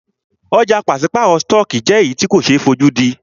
Ọ̀jà pàṣípàrọ̀ stọọkí jẹ́ èyí tí ko ṣe é fojúdí.